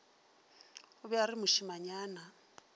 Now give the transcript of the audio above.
o be a re mošemanyana